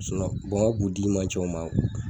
n ka bu d'i man ca u ma